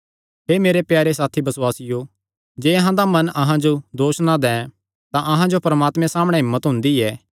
हे मेरे प्यारे साथी बसुआसियो जे अहां दा मन अहां जो दोस ना दैं तां अहां जो परमात्मे सामणै हिम्मत हुंदी ऐ